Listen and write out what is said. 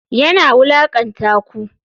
Yana wulakanta ku?